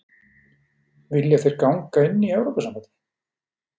Vilja þeir ganga inn í Evrópusambandið?